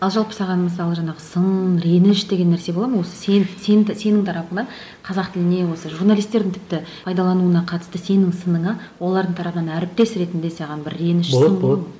ал жалпы саған мысалы жаңағы сын реніш деген нәрсе бола ма осы сен сен сенің тарапыңнан қазақ тіліне осы журналистердің тіпті пайдалануына қатысты сенің сыныңа олардың тарапынан әріптес ретінде саған бір реніш сынның болады болады